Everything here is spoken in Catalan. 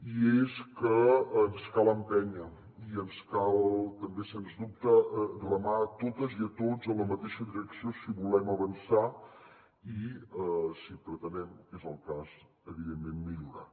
i és que ens cal empènyer i ens cal també sens dubte remar totes i tots en la mateixa direcció si volem avançar i si pretenem que és el cas evidentment millorar